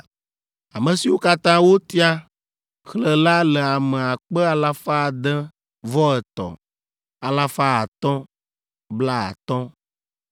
Ame siwo katã wotia, xlẽ la le ame akpe alafa ade vɔ etɔ̃, alafa atɔ̃, blaatɔ̃ (603,550).